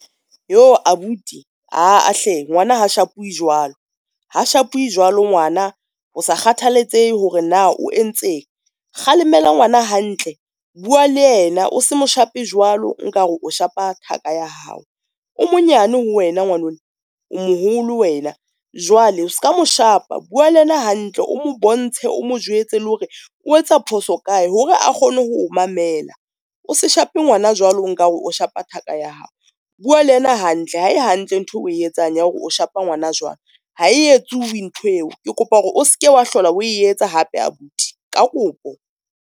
Yoh abuti aa hle ngwana ha shapuwe jwalo, ha shapuwe jwalo ngwana ho sa kgathaletsehe hore na o entseng kgalemela ngwana hantle. Bua le yena o se mo shape jwalo nka re o shapa thaka ya hao, o monyane ho wena ngwanona o moholo wena. Jwale o ska mo shapa bua le yena hantle, o mo bontshe o mo jwetse le hore o etsa phoso kae hore a kgone ho mamela. O se shape ngwana jwalo nkare o shapa thaka ya hao bua le ena hantle. Ha e hantle ntho e o etsang ya hore o shapa ngwana jwalo ha e etsuwe ntho eo. Ke kopa hore o seke wa hlola o etsa hape abuti ka kopo.